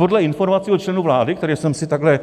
Podle informací od členů vlády, kterým jsem si takhle